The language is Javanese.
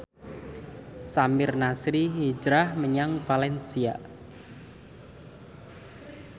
Samir Nasri hijrah menyang valencia